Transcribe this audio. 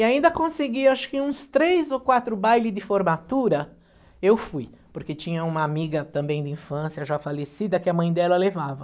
E ainda conseguia, acho que uns três ou quatro bailes de formatura, eu fui, porque tinha uma amiga também de infância, já falecida, que a mãe dela levava.